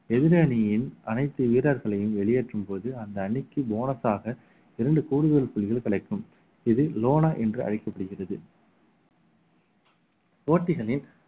எதிரணியின் அனைத்து வீரர்களையும் வெளியேற்றும் போது அந்த அணிக்கு bonus ஆக இரண்டு கூடுதல் புள்ளிகள் கிடைக்கும் இது lona என்று அழைக்கப்படுகிறது போட்டிகளில்